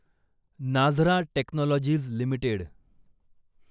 Nazara technologies limited